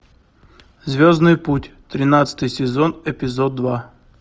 звездный путь тринадцатый сезон эпизод два